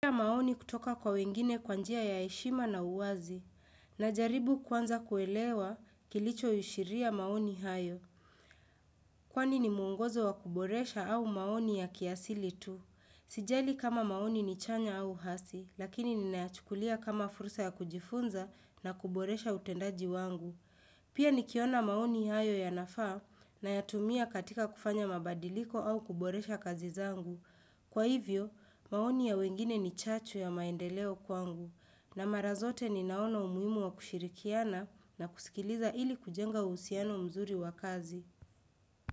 Pia maoni kutoka kwa wengine kwa njia ya heshima na uwazi. Najaribu kwanza kuelewa kilicho ashiria maoni hayo. Kwani ni muongozo wa kuboresha au maoni ya kiasili tu. Sijali kama maoni ni chanya au hasi, lakini ninayachukulia kama fursa ya kujifunza na kuboresha utendaji wangu. Pia nikiona maoni hayo yanafaa na yatumia katika kufanya mabadiliko au kuboresha kazi zangu. Kwa hivyo, maoni ya wengine ni chachu ya maendeleo kwangu na mara zote ninaona umuhimu wa kushirikiana na kusikiliza ili kujenga uhusiano mzuri wakazi.